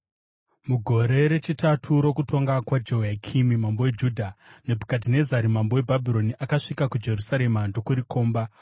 Mugore rechitatu rokutonga kwaJehoyakimi mambo weJudha, Nebhukadhinezari mambo weBhabhironi akasvika kuJerusarema ndokurikomba.